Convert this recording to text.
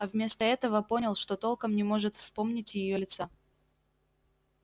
а вместо этого понял что толком не может вспомнить её лица